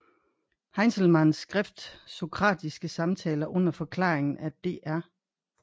Heinzelmanns skrift Sokratiske Samtaler under Forklaringen af Dr